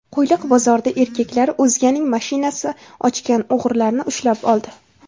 Qo‘yliq bozorida erkaklar o‘zganing mashinasi ochgan o‘g‘rilarni ushlab oldi.